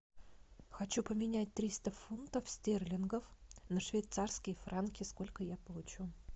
хочу поменять триста фунтов стерлингов на швейцарские франки сколько я получу